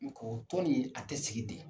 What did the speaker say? N ko tɔn ni a tɛ sigi de.